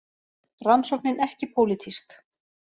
Rannsóknin ekki pólitísk